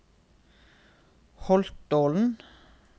Holtålen